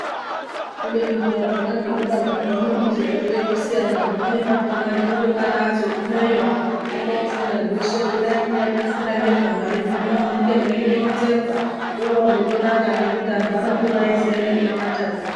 Kubeni peya zvona zvikora zvino zvinochizotoita ekusiyana zvimweni zvakona zvinoti Mwari azogumeyo mworofunda zveshe kudai kunyari kufunda nezvamwari zvino munenge meindoronzerwa zvorozotonaka ngekuti antu anokura eiziya nekunamatako.